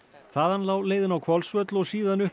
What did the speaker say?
þaðan lá leiðin á Hvolsvöll og síðan upp